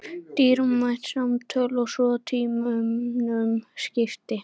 Dýrmæt samtöl svo tímunum skipti.